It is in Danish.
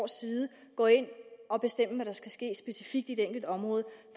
side gå ind og bestemme hvad der skal ske specifikt i et enkelt område